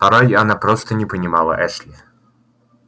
порой она просто не понимала эшли